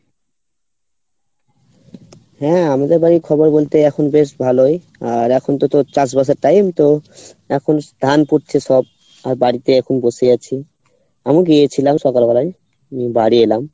হ্যাঁ আমাদের বাড়ির খবর বলতে এখন বেশ ভালো আর এখন তো তোর চাষবাসের time তো এখন ধান পুতছে সব আর বাড়িতে এখন বসে আছি আমিও গিয়েছিলাম সকাল বেলায় বাড়ি এলাম